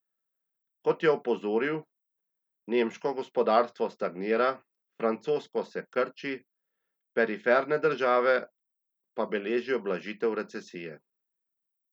Kot je opozoril, nemško gospodarstvo stagnira, francosko se krči, periferne države pa beležijo blažitev recesije.